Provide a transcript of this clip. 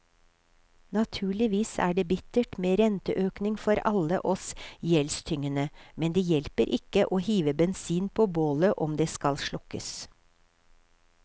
Naturligvis er det bittert med renteøkning for alle oss gjeldstyngede, men det hjelper ikke å hive bensin på bålet om det skal slukkes.